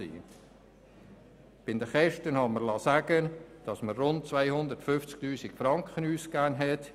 Bei den Kosten habe ich mir sagen lassen, dass wir rund 250 000 Franken ausgegeben haben.